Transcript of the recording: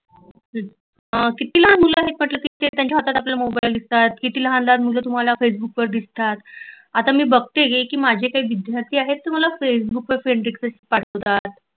हा किती लहान मुल आहेत म्हटल त्याच्या हातात मोबााईल दिसतात किती लहान लहान मुल तुम्हाला फैसबुकवर दिसतात आता मी बघते की माझे काही विद्यार्थी आहेत मला फेसबुकव friend request पाठवतात